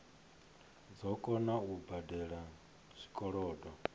dzo kona u badela zwikolodo